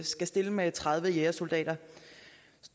skal stille med tredive jægersoldater